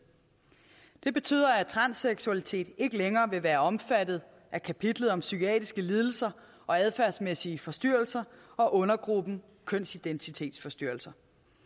det betyder at transseksualitet ikke længere vil være omfattet af kapitlet om psykiatriske lidelser og adfærdsmæssige forstyrrelser og undergruppen kønsidentitetsforstyrrelser